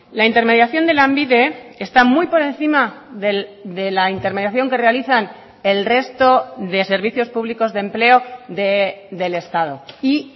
la intermediación de lanbide está muy por encima de la intermediación que realizan el resto de servicios públicos de empleo del estado y